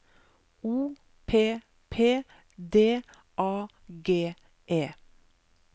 O P P D A G E